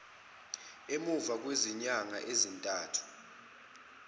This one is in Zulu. emuva kwezinyanga ezintathu